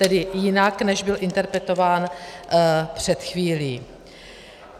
Tedy jinak než byl interpretován před chvílí.